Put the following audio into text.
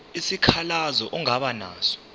isikhalazo ongaba naso